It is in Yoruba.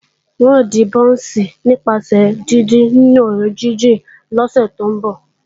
N ó dín bọ́ọ̀nsì nípasẹ̀ díndín nínú òróró jíjìn lọ́sẹ̀ tí ń bọ̀